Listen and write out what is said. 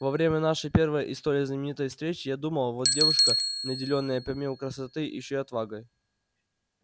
во время нашей первой и столь знаменитой встречи я думал вот девушка наделённая помимо красоты ещё и отвагой